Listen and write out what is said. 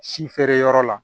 Si feereyɔrɔ la